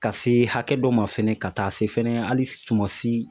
Ka se hakɛ dɔ ma fɛnɛ, ka taa se fɛnɛ hali suman si.